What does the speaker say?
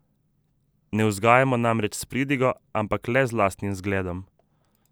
Ne vzgajamo namreč s pridigo, ampak le z lastnim zgledom.